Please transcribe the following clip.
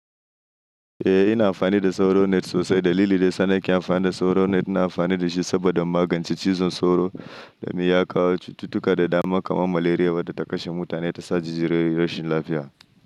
Eh ina amfani da sauro net sosai dalili dai sanar kin amfani da sauro net ina amfani da shi saboda magance cizon sauro da miyaka, tutuka da dama kamar malaria wadda ta kashe mutane ta sashi jirgin lafiya.